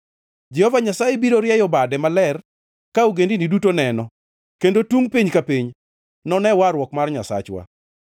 Jehova Nyasaye biro rieyo bade maler ka ogendini duto neno, kendo tungʼ piny ka piny none warruok mar Nyasachwa.